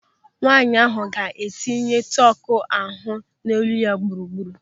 Nwaanyị ahụ ga-eyinye tọku ahụ n'olu ya gburugburu.